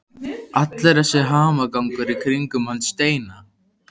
Allur þessi hamagangur í kringum hann Steina!